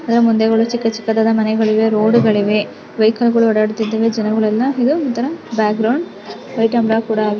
ಅದರ ಮುಂದೆ ಕೂಡ ಚಿಕ್ಕ್ ಚಿಕ್ಕದಾದ ಮನೆಗಳಿವೆ ರೋಡು ಗಳಿವೆ ವೆಹಿಕಲ್ ಕೂಡ ಓಡಾಡ್ತಾ ಇದ್ದವೇ ಜನಗಳು ಎಲ್ಲ ಇದು ಒಂತರ ಬ್ಯಾಕ್ಗ್ರೌಂಡ್ ವೈಟ್ ಅಂಡ್ ಬ್ಲಾಕ್ ಕೂಡ ಆಗಿದೆ.